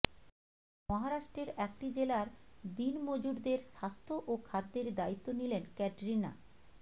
মহারাষ্ট্রের একটি জেলার দিন মজুরদের স্বাস্থ্য ও খাদ্যের দায়িত্ব নিলেন ক্যাটরিনা